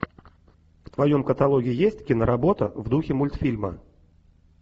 в твоем каталоге есть киноработа в духе мультфильма